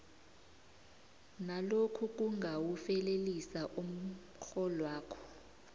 nalokhu kungawufelelisa umrholwakho